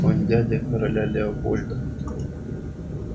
он дядя короля леопольда